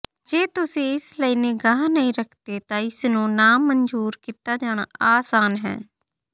ਜੇ ਤੁਸੀਂ ਇਸ ਲਈ ਨਿਗਾਹ ਨਹੀਂ ਰੱਖਦੇ ਤਾਂ ਇਸ ਨੂੰ ਨਾਮਨਜ਼ੂਰ ਕੀਤਾ ਜਾਣਾ ਆਸਾਨ ਹੈ